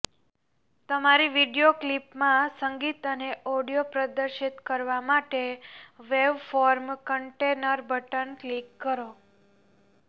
તમારી વિડિઓ ક્લિપમાં સંગીત અને ઑડિઓ પ્રદર્શિત કરવા માટે વેવફોર્મ કન્ટેનર બટન ક્લિક કરો